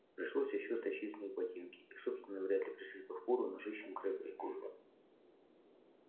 пришлось ещё стащить с них ботинки их собственные вряд ли пришлись бы впору ножищам крэбба и гойла